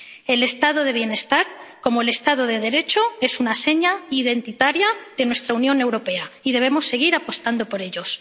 El Estado de bienestar, como el Estado de Derecho, es una seña identitaria de nuestra Unión Europea, y debemos seguir apostando por ello.